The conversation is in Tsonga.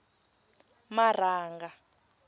marhanga